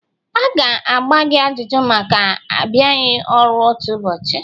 A ga-agba gị ajụjụ maka abịaghị ọru otu ụbọchị?